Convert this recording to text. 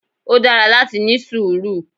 Ó dára láti ní sùúrù.